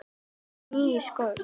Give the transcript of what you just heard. Þú varst á nýjum skóm.